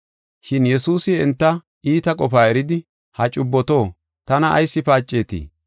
Shin Yesuusi enta iita qofaa eridi, “Ha cubboto, tana ayis paacetii?